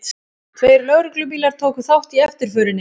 Tveir lögreglubílar tóku þátt í eftirförinni